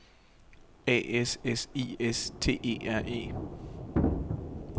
A S S I S T E R E